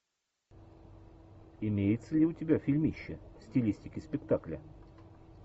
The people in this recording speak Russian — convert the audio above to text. имеется ли у тебя фильмище в стилистике спектакля